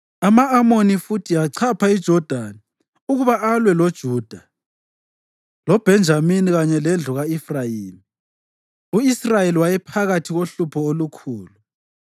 Ama-Amoni futhi achapha iJodani ukuba alwe loJuda, loBhenjamini kanye lendlu ka-Efrayimi; u-Israyeli wayephakathi kohlupho olukhulu.